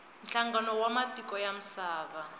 nhlangano wa matiko ya misava